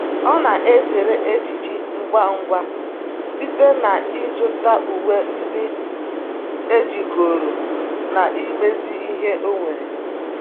ọ na ezere ejiji ngwa ngwa site na izu ta uwe ndi ejigoro na imezi ihe onwere